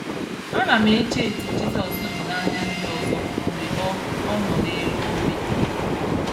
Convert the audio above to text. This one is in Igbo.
Ana m eche etu Jizọs dị n'anya ndị ọzọ mgbe ọ ọ nọ n'elu obe.